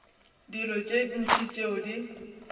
dilo tše ntši tšeo di